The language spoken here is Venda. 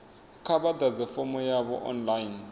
kha vha ḓadze fomo yavho online